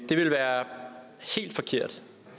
det vil være helt forkert